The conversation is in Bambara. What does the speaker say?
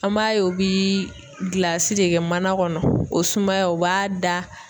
An b'a ye u bi gilasi de kɛ mana kɔnɔ o sumaya o b'a da